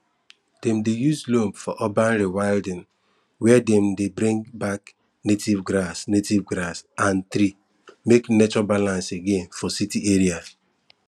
dem dey use loam for urban rewilding where dem dey bring back native grass native grass and tree make nature balance again for city area